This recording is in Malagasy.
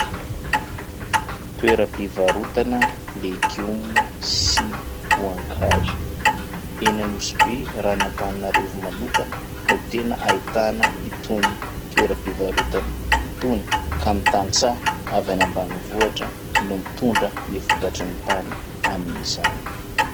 Toeram-pivarotana legioma sy voankazo. Eny Anosibe raha ny Antananarivo manokana no tena ahitana itony toeram-pivarotana itony. Ka ny tantsaha avy any ambanivohitra no mitondra ny vokatry ny tany amin'izany.